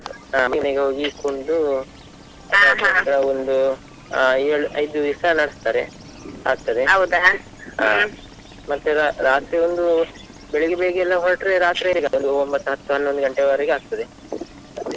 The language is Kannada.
ಹಾ ಮನೆ ಮನೆಗೆ ಹೋಗಿ ಕುಣಿದು ಒಂದು ಏಳು ಐದು ದಿವ್ಸ ನಡಸ್ತಾರೆ ಆಗ್ತದೆ ಮತ್ತೆ ರಾತ್ರಿ ಒಂದು, ಬೆಳಿಗ್ಗೆ ಬೇಗ ಎಲ್ಲಾ ಹೊರಟ್ರೆ ರಾತ್ರಿ ಒಂಬತ್ತು ಹತ್ತು ಹನ್ನೊಂದು ಗಂಟೆವರೆಗೆ ಆಗ್ತದೆ.